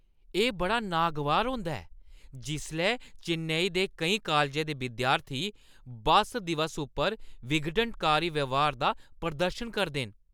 एह् बड़ा नागवार होंदा ऐ जिसलै चेन्नई दे केईं कालजें दे विद्यार्थी बस दिवस उप्पर विघटनकारी ब्यहार दा प्रदर्शन करदे न।